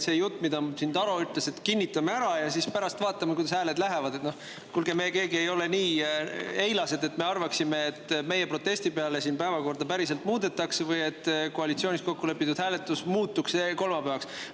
See jutt, mida Taro siin, et kinnitame ära ja siis pärast vaatame, kuidas hääled lähevad – kuulge, me ei ole nii eilased, et me arvaksime, et meie protesti peale päevakorda päriselt muudetakse või et koalitsioonis kokku lepitud hääletus kolmapäevaks muutub.